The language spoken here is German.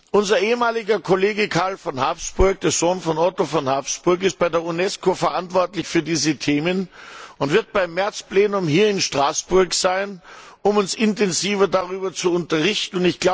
Unser ehemaliger Kollege Karl von Habsburg, der Sohn Otto von Habsburgs, ist bei der Unesco verantwortlich für diese Themen und wird beim März Plenum hier in Straßburg sein, um uns intensiver darüber zu unterrichten.